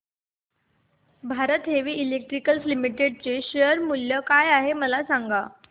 Bharat heavy electricals limited च्या share चे मूल्य काय आहे सांगा